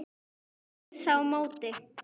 Ég heilsa á móti.